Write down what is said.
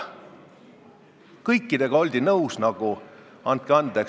Kõigega oldi nõus – andke andeks!